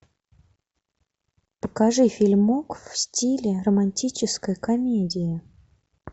покажи фильмок в стиле романтической комедии